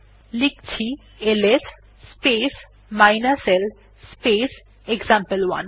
লিখছি LS space l space example one